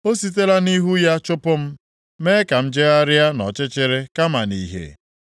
O sitela nʼihu ya chụpụ m, mee ka m jegharịa nʼọchịchịrị kama nʼìhè.